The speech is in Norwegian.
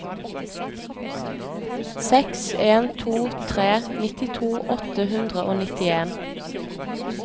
seks en to tre nittito åtte hundre og nittien